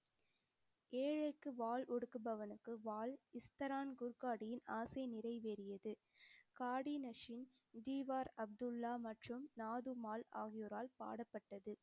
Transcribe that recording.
ஏழைக்கு வாள் ஒடுக்குபவனுக்கு வாள் இஸ்தரான் குர்காடியில் ஆசை நிறைவேறியது. காடி நசின், திவார் அப்துல்லா மற்றும் நாதும்மாள் ஆகியோரால் பாடப்பட்டது.